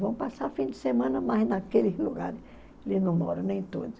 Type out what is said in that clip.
Vão passar fim de semana, mas naquele lugar eles não moram, nem todos.